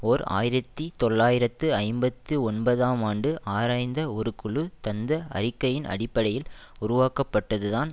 ஓர் ஆயிரத்தி தொள்ளாயிரத்து ஐம்பத்தி ஒன்பதாம் ஆண்டு ஆராய்ந்த ஒரு குழு தந்த அறிக்கையின் அடிப்படையில் உருவாக்கப்பட்டதுதான்